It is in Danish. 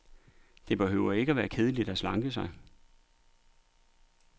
Det behøver ikke at være kedeligt at slanke sig.